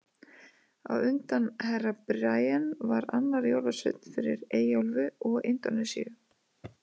Á undan Herra Brian var annar jólasveinn fyrir Eyjaálfu og Indónesíu.